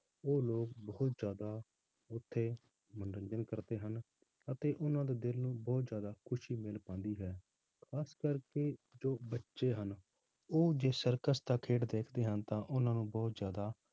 ਉਹ ਲੋਕ ਬਹੁਤ ਜ਼ਿਆਦਾ ਉੱਥੇ ਮਨੋਰੰਜਨ ਕਰਦੇ ਹਨ ਅਤੇ ਉਹਨਾਂ ਦੇ ਦਿਲ ਨੂੰ ਬਹੁਤ ਜ਼ਿਆਦਾ ਖ਼ੁਸ਼ੀ ਮਿਲ ਪਾਉਂਦੀ ਹੈ, ਖ਼ਾਸ ਕਰਕੇ ਜੋ ਬੱਚੇ ਹਨ, ਉਹ ਜੇ circus ਦਾ ਖੇਡ ਦੇਖਦੇ ਹਨ ਤਾਂ ਉਹਨਾਂ ਨੂੰ ਬਹੁਤ ਜ਼ਿਆਦਾ